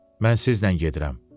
Mən sizlə gedirəm.